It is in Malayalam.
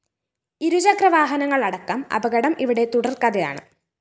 ഇരുചക്രവാഹനങ്ങളടക്കം അപകടം ഇവിടെ തുടര്‍ക്കഥയാണ്